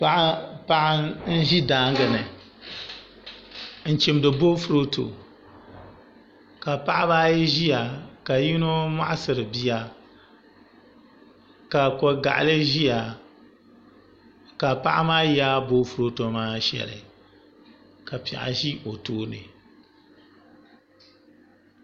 Paɣa n ʒi daagini n chimdi boofurooto ka paɣa baa ayi ʒia ka yinɔ mɔɣ'siri bia ka ko gaɣili ʒiya ka paɣi maa yaagi boofurooto maa shɛli ka piɛɣu ʒɛ o tooni